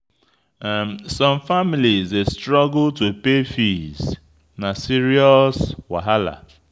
Some families dey struggle to pay fees; na serious wahala.